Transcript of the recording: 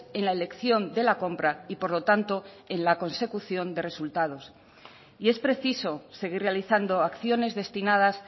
en la elección de la compra y por lo tanto en la consecución de resultados y es preciso seguir realizando acciones destinadas